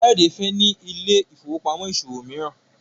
Kayode fè ní Ile-ifowopamọ ìṣòwò míràn.